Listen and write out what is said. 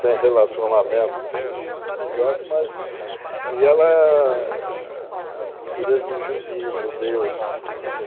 Sem relacionamento direto, mas... E ela é filha de judi judeus.